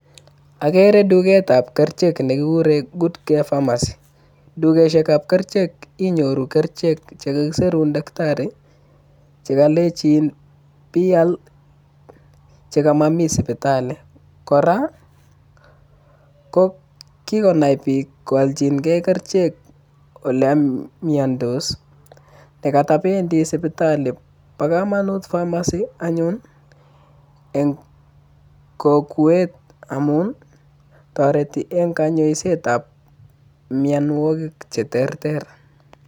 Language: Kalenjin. Ogere tugetab kerichek nekikuren Good Care Farmers, tukosiekab kerichek inyoru kerichek chekisirun taktari chekolenjin pial chekamomi sipitali kora kokiinai biik kooljigei kerichek olon miondos chekotopendi sipitali. Po komonut pharmacy anyun en kokwet amun toreti en konyoisetab mionwokik cheterter.